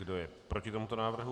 Kdo je proti tomuto návrhu?